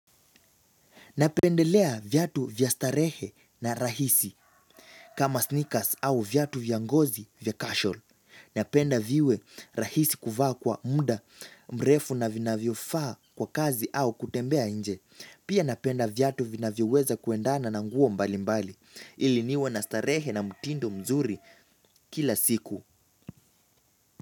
Napendelea vyatu vya starehe na rahisi kama sneakers au vyatu vya ngozi vya kashol. Napenda viwe rahisi kuvaa kwa muda mrefu na vinavyofaa kwa kazi au kutembea inje. Pia napenda vyatu vinavyoweza kuendana na nguo mbali mbali. Ili niwe na starehe na mutindo mzuri kila siku.